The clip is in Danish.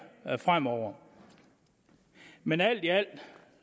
fremover men alt i alt